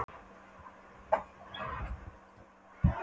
um að ræða eigin hlutabréf, stofnkostnað, gengistap og viðskiptavild.